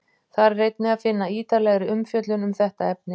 þar er einnig að finna ítarlegri umfjöllun um þetta efni